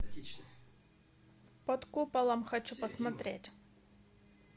под куполом хочу посмотреть